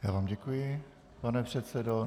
Já vám děkuji, pane předsedo.